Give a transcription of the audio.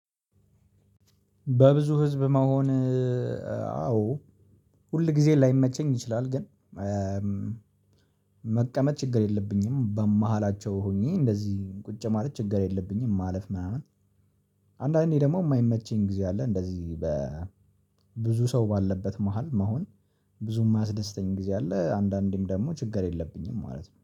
በብዙ ህዝብ መሆን። አዎ። ሁል ጊዜ ላይመቸኝ ይችላል ግን መቀመጥ ችግር የለብኝም በመሃላቸው ሆኜ እንደዚህ ቁጭ ማለት ችግር የለብኝም ማለፍ ምናምን። አንዳንዴ ደግሞ የማይመቸኝ ጊዜ አለ እንደዚህ በብዙ ሰው ባለበት መሃል መሆን ብዙ የማያስደስተኝ ጊዜ አለ። አንዳንዴም ደግሞ ችግር የለብኝም ማለት ነው